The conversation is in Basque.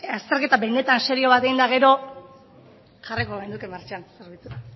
azterketa benetan serio bat egin eta gero jarriko genuke martxan zerbitzua